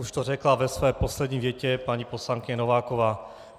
Už to řekla ve své poslední větě paní poslankyně Nováková.